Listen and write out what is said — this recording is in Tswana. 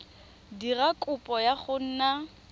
dira kopo ya go nna